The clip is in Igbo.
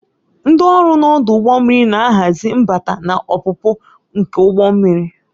Ndị ọrụ na ọdụ ụgbọ mmiri na-ahazi mbata na ọpụpụ nke ụgbọ mmiri.